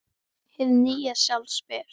Hið nýja sjálf spyr